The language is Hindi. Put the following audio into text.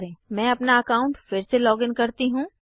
मैं अपना अकाउंट फिर से लॉगिन करती हूँ